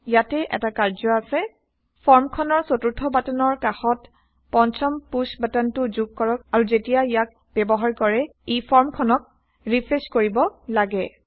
ইয়াতে এটা কাম আছে ফৰ্ম খনৰ চতুৰ্থ বাটনৰ কাষত পঞ্চম পুশ্ব বাটনটো যোগ কৰক আৰু যেতিয়া ইয়াক ব্যৱহাৰ কৰে 160 ই ফৰ্ম খনক ৰিফ্ৰেশ্ব কৰিব লাগে